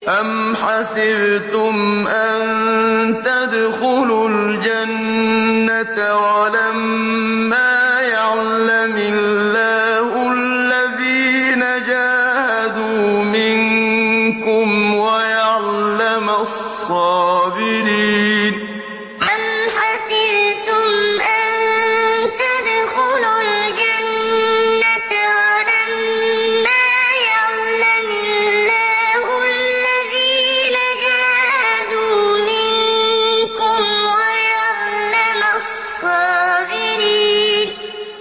أَمْ حَسِبْتُمْ أَن تَدْخُلُوا الْجَنَّةَ وَلَمَّا يَعْلَمِ اللَّهُ الَّذِينَ جَاهَدُوا مِنكُمْ وَيَعْلَمَ الصَّابِرِينَ أَمْ حَسِبْتُمْ أَن تَدْخُلُوا الْجَنَّةَ وَلَمَّا يَعْلَمِ اللَّهُ الَّذِينَ جَاهَدُوا مِنكُمْ وَيَعْلَمَ الصَّابِرِينَ